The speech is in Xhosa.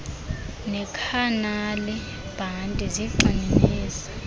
nekhanali bhanti zigxininise